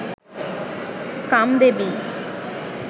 Kamdevi